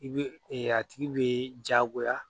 I bɛ a tigi bɛ jagoya